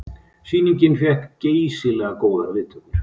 Sýningin fékk geysilega góðar viðtökur